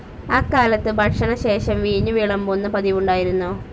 അക്കാലത്ത് ഭക്ഷണശേഷം വീഞ്ഞു വിളമ്പുന്ന പതിവുണ്ടായിരുന്നു.